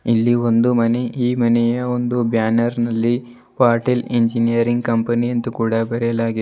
ಇಲ್ಲಿ ಒಂದು ಮನೆ ಈ ಮನೆಯ ಒಂದು ಬ್ಯಾನರ್ ನಲ್ಲಿ ಪಾಟೀಲ್ ಇಂಜಿನಿಯರಿಂಗ್ ಕಂಪನಿ ಅಂತು ಕೂಡ ಬರೆಯಲಾಗಿದೆ.